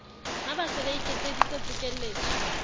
ba se ba iketseditse pokelletso